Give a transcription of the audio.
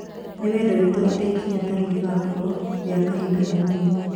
Nĩ wendi witũ atĩ ikinya tarĩu rĩgakoruo rĩa kahinda kanini